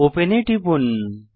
open এ টিপুন